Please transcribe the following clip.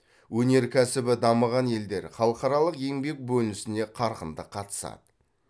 өнеркәсібі дамыған елдер халықаралық еңбек бөлінісіне қарқынды қатысады